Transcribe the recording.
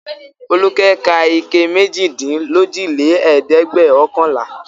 Folúkẹ́ ka ike méjìdínlójìlẹ́ẹ̀dẹ́gbẹ̀ọ̀kànlá.